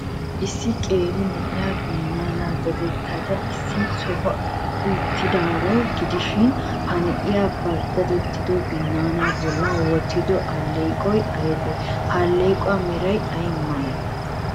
Issi qeeri na'iyaa binnaanaa dadettada issi sohuwan uttidaaro gidishin, Ha na'iya ba dadettido binnaanaa bollan wottido alleeqoy aybee? He alleequwa meray ay malee?